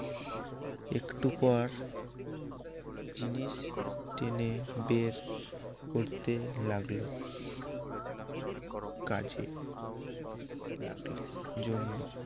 একটু পর জিনিস টেনে বের করতে লাগল কাজে লাগলে জন্য